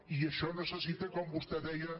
i això ne·cessita com vostè deia